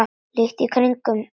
Lítur í kringum sig.